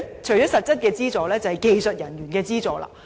除了實質資助，還需要技術人員提供資助。